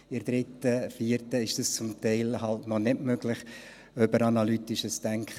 In der 3. und 4. Klasse ist das zum Teil noch nicht möglich, schon gar nicht über analytisches Denken.